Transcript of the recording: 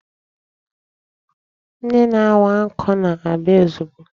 Ndị na-awa nkụ na-abịa ozugbo.